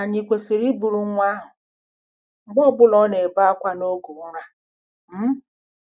Ànyị kwesịrị iburu nwa ahụ mgbe ọ bụla ọ na-ebe akwa n'oge ụra? um